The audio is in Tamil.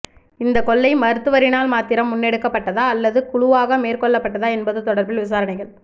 இந்த கொள்ளை மருத்துவரினால் மாத்திரம் முன்னெடுக்கப்பட்டதா அல்லது குழுவாக மேற்கொள்ளப்பட்டதா என்பது தொடர்பில் விசாரணைகள்